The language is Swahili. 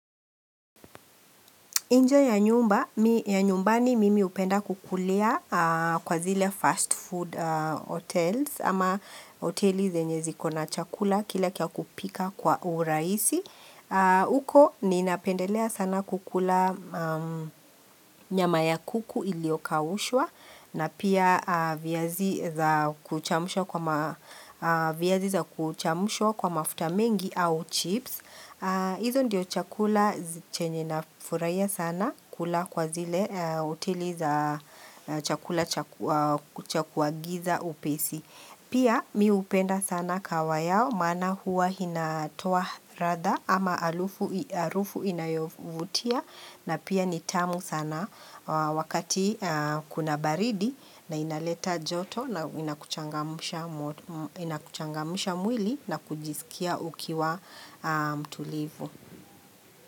Inje ya nyumba, ya nyumbani mimi hupenda kukulia kwa zile fast food hotels ama hoteli zenye ziko na chakula kile kia kupika kwa uraisi. Uko ninapendelea sana kukula nyama ya kuku iliyokaushwa na pia viazi za kuchamushwa kwa mafuta mengi au chips. Hizo ndiyo chakula chenye na furahia sana kula kwa zile hoteli za chakula chaku agiza upesi. Pia mihupenda sana kahawa yao maana huwa hinatoa ratha ama halufu harufu inayovutia na pia ni tamu sana wakati kuna baridi na inaleta joto na inakuchangamusha mwili na kujisikia ukiwa mtulivu.